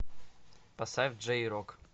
поставь джей рок